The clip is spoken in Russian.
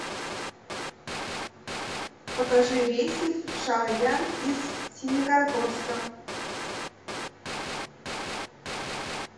покажи рейсы в шаоян из семикаракорска